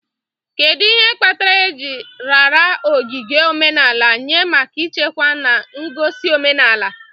Kedu ihe kpatara eji raara ogige omenala nye maka ichekwa na igosi omenala?